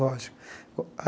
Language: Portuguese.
Lógico.